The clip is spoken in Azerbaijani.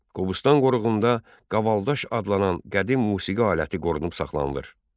Qobustan qoruğunda qavaldaş adlanan qədim musiqi aləti qorunub saxlanılır.